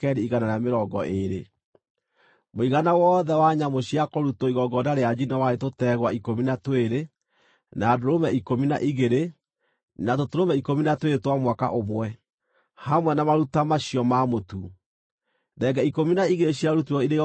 Mũigana wothe wa nyamũ cia kũrutwo igongona rĩa njino warĩ tũtegwa ikũmi na twĩrĩ, na ndũrũme ikũmi na igĩrĩ na tũtũrũme ikũmi na twĩrĩ twa mwaka ũmwe, hamwe na maruta ma cio ma mũtu. Thenge ikũmi na igĩrĩ ciarutirwo irĩ igongona rĩa kũhoroherio mehia.